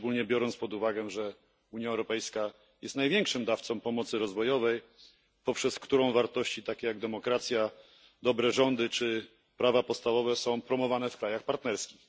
Tym bardziej że Unia Europejska jest największym dawcą pomocy rozwojowej, poprzez którą wartości takie jak demokracja, dobre rządy czy prawa podstawowe są promowane w krajach partnerskich.